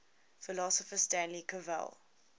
philosopher stanley cavell